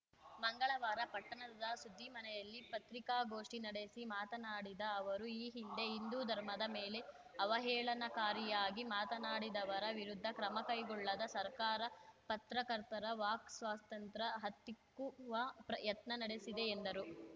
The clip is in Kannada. ಮಂಗಳವಾರ ಪಟ್ಟಣದ ಸುದ್ದಿಮನೆಯಲ್ಲಿ ಪತ್ರಿಕಾಗೋಷ್ಠಿ ನಡೆಸಿ ಮಾತನಾಡಿದ ಅವರು ಈ ಹಿಂದೆ ಹಿಂದೂ ಧರ್ಮದ ಮೇಲೆ ಆವಹೇಳನಕಾರಿಯಾಗಿ ಮಾತನಾಡಿದವರ ವಿರುದ್ಧ ಕ್ರಮ ಕೈಗೊಳ್ಳದ ಸರ್ಕಾರ ಪತ್ರಕರ್ತರ ವಾಕ್‌ ಸ್ವಾತಂತ್ರ್ಯ ಹತ್ತಿಕ್ಕುವ ಪ್ರ ಯತ್ನ ನಡೆಸುತ್ತಿದೆ ಎಂದರು